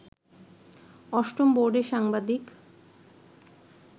অষ্টম বোর্ডে সাংবাদিক